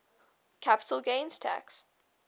capital gains tax